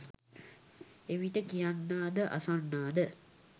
එවිට කියන්නා ද අසන්නා ද